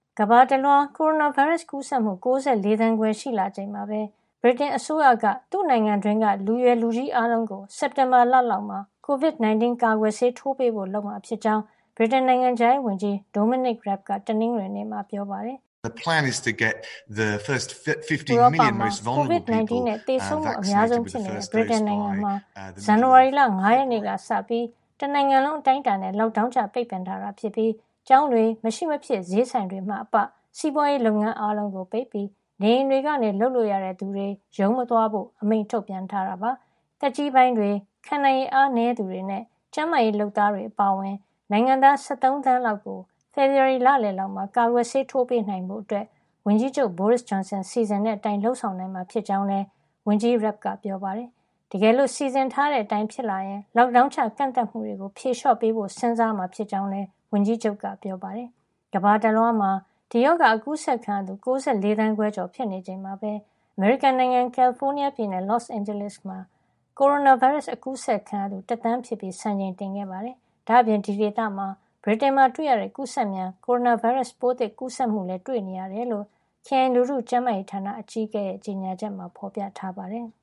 ကမ္ဘာတလွှား ကိုရိုနာဗိုင်းရပ်စ်ကူးစက်မှု ၉၄ သန်းခွဲ ရှိလာချိန်မှာပဲ ဗြိတိန်အစိုးရက သူ့နိုင်ငံတွင်းက လူရွယ်လူကြီး အားလုံးကို စက်တင်ဘာလလောက်မှာ COVID-19 ကာကွယ်ဆေးထိုးပေးဖို့ လုပ်မှာဖြစ်ကြောင်း ဗြိတိန် နိုင်ငံခြားရေးဝန်ကြီး Dominic Raab က တနင်္ဂနွေနေ့မှာ ပြောပါတယ်။ ဥရောပမှာ COVID-19 နဲ့ သေဆုံးမှုအများဆုံး ဖြစ်နေတဲ့ ဗြိတိန်နိုင်ငံမှာ ဇန်နဝါရီလ ၅ ရက်နေ့ကစပြီး တနိုင်ငံလုံး အတိုင်းအတာနဲ့ Lockdown ချ ပိတ်ပင်ထားတာဖြစ်ပြီး ကျောင်းတွေ၊ မရှိမဖြစ် ဈေးဆိုင်တွေမှအပ စီးပွားရေးလုပ်ငန်း အားလုံးကို ပိတ်ပြီး နေအိမ်တွေကနေ လုပ်လို့ရတဲ့သူတွေ ရုံးမသွားဖို့ အမိန့်ထုတ်ပြန်ထားတာပါ။ နေအိမ်တွေမှာ စောင့်ရှောက်ကုသမှု ခံယူနေသူတွေ အပါအဝင် သက်ကြီးပိုင်းတွေ၊ ခံနိုင်ရည် အားနည်းသူတွေနဲ့ ကျန်းမာရေးလုပ်သားတွေ အပါအဝင် နိုင်ငံသား ၁၃ သန်းကျော်လောက်ကို ဖေဖော်ဝါရီလလယ်လောက်မှာ ကာကွယ်ဆေး ထိုးပေးနိုင်ဖို့ ဝန်ကြီးချုပ် Boris Johnson စီစဉ်တဲ့အတိုင်း လုပ်ဆောင်နိုင်မှာ ဖြစ်ကြောင်းလည်း ဝန်ကြီး Raab က ပြောပါတယ်။ တကယ်လို့ စီစဉ်ထားတဲ့အတိုင်း ဖြစ်လာရင် Lockdown ချ ကန့်သတ်မှုတွေကို ဖြေလျှော့ပေးဖို့ပါ စဉ်းစားမှာ ဖြစ်ကြောင်းလည်း ဝန်ကြီးချုပ်က ပြောပါတယ်။ ကမ္ဘာတလွှားမှာ ဒီရောဂါ ကူးစက်ခံရသူ ၉၄ သန်းခွဲကျော် ဖြစ်နေချိန်မှာပဲ အမေရိကန်နိုင်ငံ ကယ်လီဖိုးနီးယားပြည်နယ် Los Angeles ခရိုင်မှာ ကိုရိုနာဗိုင်းရပ်စ် ကူးစက်ခံရသူ တသန်းဖြစ်သွားပြီး စံချိန်တင်ခဲ့ပါတယ်။ ဒါ့အပြင် အဲဒီဒေသမှာ ဗြိတိန်နိုင်ငံမှာ တွေ့နေရတဲ့ ကူးစက်မြန် ကိုရိုနာဗိုင်းရပ်စ်ပိုးသစ် ကူးစက်မှုလည်း တွေ့ရှိနေရတယ်လို့ ခရိုင် လူထုကျန်းမာရေးဌာန အကြီးအကဲ Dr. Barbara Ferrer ရဲ့ ကြေညာချက်မှာ ဖော်ပြထားပါတယ်။